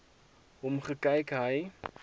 hom gekyk hy